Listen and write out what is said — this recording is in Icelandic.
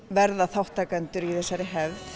verða þátttakendur í þessari hefð